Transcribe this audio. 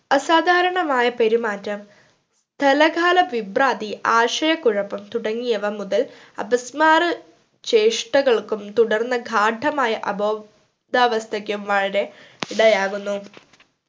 അസാധാരണമായ പെരുമാറ്റം സ്ഥലകാല വിഭ്രാന്തി ആശയകുഴപ്പം തുടങ്ങിയവ മുതൽ അപസ്‌മാര ചേശ്ഷ്ഠകൾക്കും തുടർന്ന ഗാഢമായ അബോധാവാസ്ഥക്കും ഇടയാവുന്നു